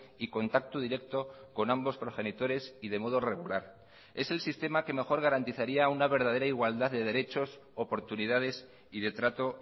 y contacto directo con ambos progenitores y de modo regular es el sistema que mejor garantizaría una verdadera igualdad de derechos oportunidades y de trato